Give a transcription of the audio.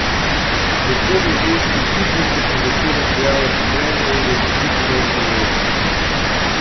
Predvsem v ženski ekipi so se začela pojavljati trenja in je čutiti nezadovoljstvo.